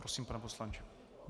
Prosím, pane poslanče.